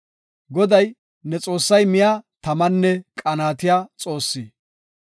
Goday, ne Xoossay miya tamanne qanaatiya Xoossi.